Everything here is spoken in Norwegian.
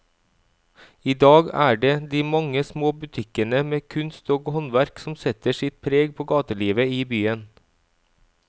I dag er det de mange små butikkene med kunst og håndverk som setter sitt preg på gatelivet i byen.